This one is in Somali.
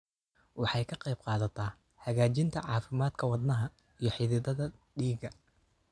Waxay ka qaybqaadataa hagaajinta caafimaadka wadnaha iyo xididdada dhiigga.